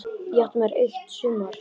Ég átti mér eitt sumar.